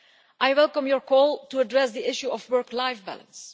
I welcome your call to address the issue of work life balance.